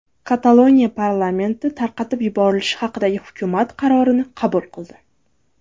Kataloniya parlamenti tarqatib yuborilishi haqidagi hukumat qarorini qabul qildi.